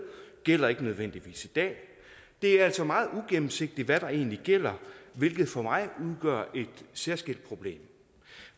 gælder ikke nødvendigvis i dag det er altså meget ugennemsigtigt hvad der egentlig gælder hvilket for mig udgør et særskilt problem